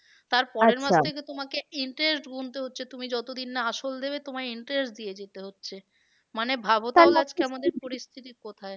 তার তোমাকে interest গুনতে হচ্ছে তুমি যতদিন না আসল দেবে তোমায় interest দিয়ে যেতে হচ্ছে। মানে আজকে আমাদের পরিস্থিতি কোথায়?